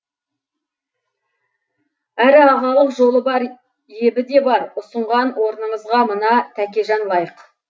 әрі ағалық жолы бар ебі де бар ұсынған орныңызға мына тәкежан лайық